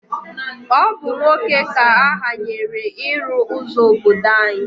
Ọ bụ nwoke ka ahanyere ịrụ ụzọ obodo anyị